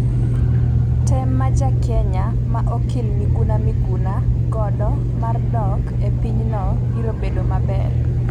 Tem ma ja Kenya ma okil Miguna Miguna godo mar dok e pinyno biro bedo maber .